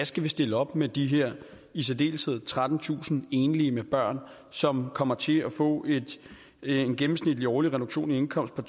skal stille op med de her trettentusind enlige med børn som kommer til at få en gennemsnitlig årlig reduktion i indkomsten